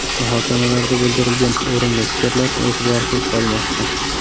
Muhokamalarda bildirilgan o‘rinli fikrlar e’tiborsiz qolmoqda.